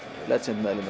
meðlimir